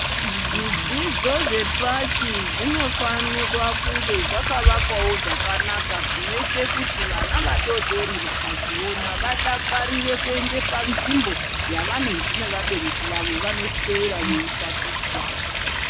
Zvidzidzo zvepashi zvinofanirwa kunge zvakavakwawo zvakanaka zvinoite kuti vana vadoodori vakazviona vadakarire kuende panzvimbo yavanonzi nevabereki vavo vanoswera veitatichwa.